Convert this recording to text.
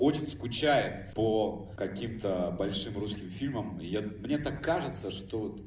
очень скучаем по каким-то большим русским фильмам и я мне так кажется что